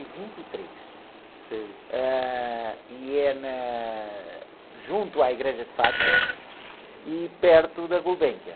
e vinte e três.ei.h, e é na... Junto à Igreja de Fátima e perto da.